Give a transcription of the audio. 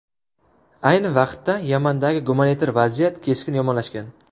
Ayni vaqtda, Yamandagi gumanitar vaziyat keskin yomonlashgan.